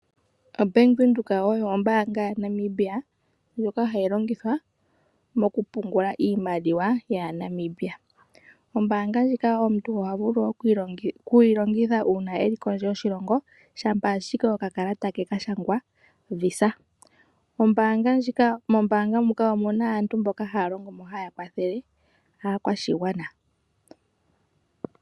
Ombanga yaVenduka oyo ombanga yaNamibia ndjoka hayi longithwa moku pungula iimaliwa yaaNamibia. Ombanga ndjika omuntu oha vulu okuyi longitha una elu kondje yoshilongo shampa ashike okakalata ke kashangwa Visa. Mombanga muka omuna aantu mboka haya longo mo haya kwathele aakwashigwana.